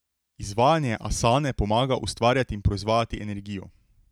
Izvajanje asane pomaga ustvarjati in proizvajati energijo.